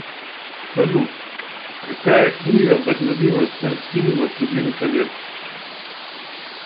салют какая книга вдохновила снять фильм властелин колец